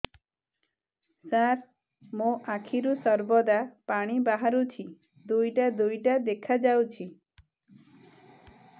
ସାର ମୋ ଆଖିରୁ ସର୍ବଦା ପାଣି ବାହାରୁଛି ଦୁଇଟା ଦୁଇଟା ଦେଖାଯାଉଛି